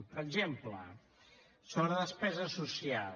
per exemple sobre despesa social